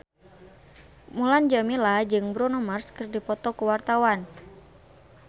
Mulan Jameela jeung Bruno Mars keur dipoto ku wartawan